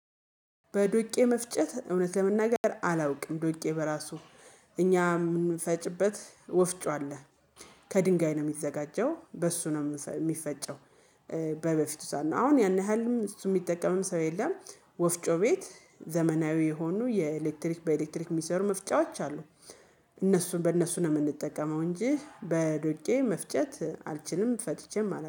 በዶቄ መፍጨት እውነት ለመናገር አላውቅም ዶቄ በራሱ እኛ የምንፈጭበት ወፍጮ አለ ከድንጋይ ነው የሚዘጋጀው በሱ ነው የሚፈጨው። በበፊቱ ሰዓት አሁን ያን ያህልም እሱ የሚጠቀምም ሰው የለም። ወፍጮ ቤት ዘመናዊ የሆኑ የኤሌክትሪክ በኤሌክትሪክ ሚሰሩ መፍጫዎች አሉ። እነሱን በእነሱ ነው የምንጠቀመው እንጂ በዶቄ መፍጨት አልችልም ፈጭቼም አላውቅም